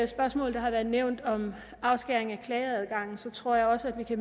spørgsmål der har været nævnt om afskæring af klageadgangen tror jeg også at vi